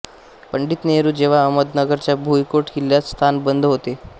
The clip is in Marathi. पंडीत नेहरु जेव्हा अहमदनगरच्या भुईकोट किल्यात स्थानबंध होते